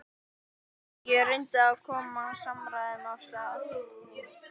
Ég reyndi að koma samræðum af stað.